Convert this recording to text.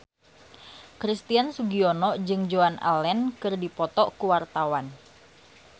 Christian Sugiono jeung Joan Allen keur dipoto ku wartawan